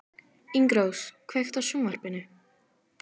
Ingirós, kveiktu á sjónvarpinu.